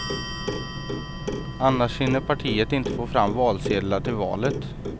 Annars hinner partiet inte få fram valsedlar till valet.